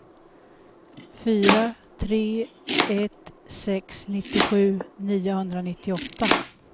fyra tre ett sex nittiosju niohundranittioåtta